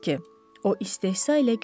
o istehza ilə gülümsədi.